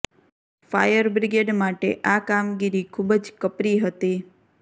fire brigade માટે આ કામગીરી ખુબ જ કપરી હતી